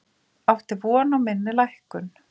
Átti von á minni lækkun